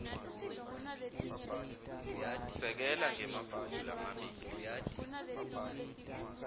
sekela ngemaphuzu lamabili